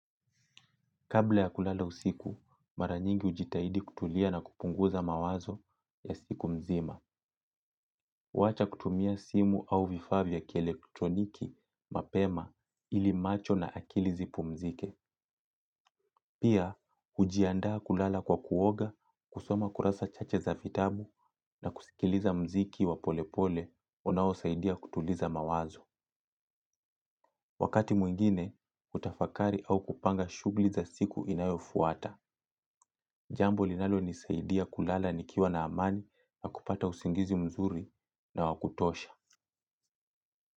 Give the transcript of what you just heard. Kabla ya kulala usiku, mara nyingi ujitahidi kutulia na kupunguza mawazo ya siku mzima. Wacha kutumia simu au vifaa vya kielektroniki mapema ili macho na akili zipumzike. Pia, hujiandaa kulala kwa kuoga, kusoma kurasa chache za vitbu na kusikiliza mziki wa pole pole, unaosaidia kutuliza mawazo. Wakati mwingine, hutafakari au kupanga shughli za siku inayofuata. Jambo linalo nisaidia kulala nikiwa na amani na kupata usingizi mzuri na wakutosha.